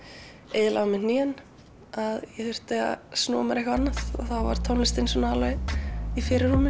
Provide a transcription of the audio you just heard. eyðilagði á mér hnén að ég þurfti að snúa mér eitthvað annað og þá var tónlistin í fyrirrúmi